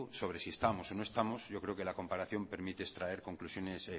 sobre si estamos o no estamos yo creo que la comparación permite extraer conclusiones